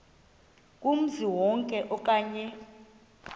kumzi wonke okanye